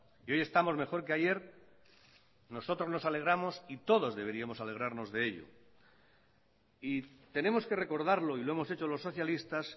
y hoy estamos mejor que ayer nosotros nos alegramos y todos deberíamos alegrarnos de ello y tenemos que recordarlo y lo hemos hecho los socialistas